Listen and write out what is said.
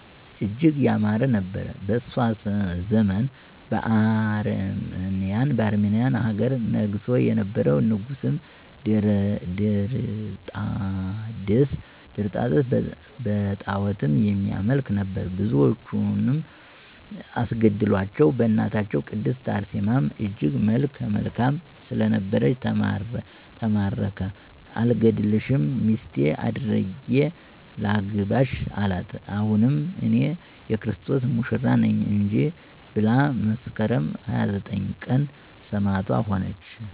እጅግ ያማረ ነበር። በእሷ ዘመን በአርመንያ ሀገር ነግሶ የነበረዉ ንጉስም ድርጣድስ በጣዖትም የሚያመልክ ነበር። ብዙዎችንም አስገደላቸዉ በእናታችን ቅድስት አርሴማም እጅግ መልከ መልካም ስለነበረች ተማረከ አልገድልሽም ሚስቴ አድርጌ ላንግስሽ አላት አይሆንም እኔ<የክርስቶስ ሙሽራ ነኝ >እንጂ ብላ መስከረም 29 ቀን ሰማዕት ሆነች።